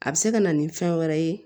A bɛ se ka na ni fɛn wɛrɛ ye